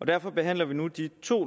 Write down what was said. og derfor behandler vi nu de to